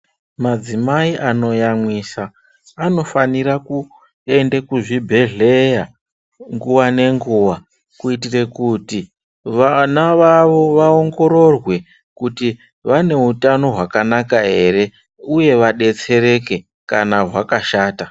Madzimai anoyamwisa vanofanira kuende kuzvibhedhleya nguva nenguva. Kuitira kuti vana vavo vaongororwe kuti vane utano hwakanaka ere, uye vabetsereke kana hwakashata.